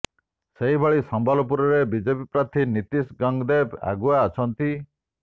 ସେହିଭଳି ସମ୍ବଲପୁରରେ ବିଜେପି ପ୍ରାର୍ଥୀ ନିତିଶ ଗଙ୍ଗଦେବ ଆଗୁଆ ଅଛନ୍ତି